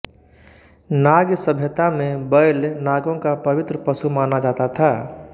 नाग सभ्यता में बैल नागों का पवित्र पशु माना जाता था